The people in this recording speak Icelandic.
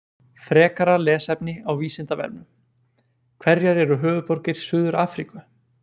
Frekara lesefni á Vísindavefnum: Hverjar eru höfuðborgir Suður-Afríku?